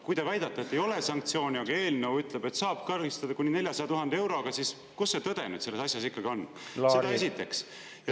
Kui te väidate, et sanktsioone ei ole, aga eelnõu ütleb, et saab karistada kuni 400 000 euroga, siis kus see tõde nüüd selles asjas ikkagi on?